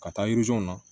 Ka taa yirizew la